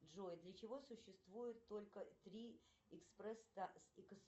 джой для чего существует только три экспресс